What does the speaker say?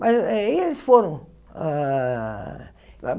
Mas eh e eles foram. Ah